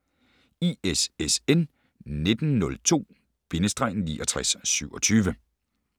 ISSN 1902-6927